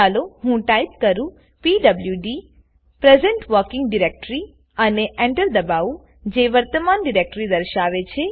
ચાલો હું ટાઈપ કરું પીડબ્લુડી પ્રેઝન્ટ વર્કિંગ ડાયરેક્ટરી અને Enterદબાવુંજે મારી વર્તમાન ડિરેક્ટરી દર્શાવે છે